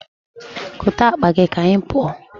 Kote akpa gị ka anyị pụọ.